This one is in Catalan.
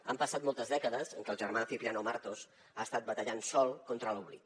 han passat moltes dècades en què el germà de cipriano martos ha estat batallant sol contra l’oblit